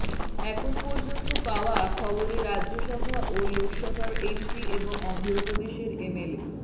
এখন পর্যন্ত পাওয়া খবরে রাজ্যসভা ও লোকসভার এমপি এবং অন্ধ্র প্রদেশের এমএলএ